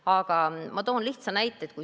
Aga ma toon lihtsa näite.